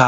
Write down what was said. Ta